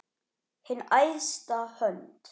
Hin æðsta hönd.